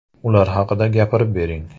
Ular haqida gapirib bering.